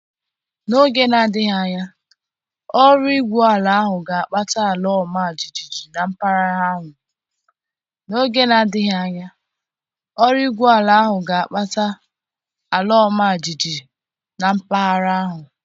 N'oge na-adịghị anya, ọrụ igwu ala ahụ ga-akpata ala ọma jijiji na mpaghara ahụ.